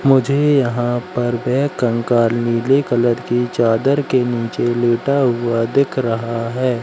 मुझे यहां पर बैग कंकाल नीले कलर की चादर के नीचे लेटा हुआ दिख रहा है।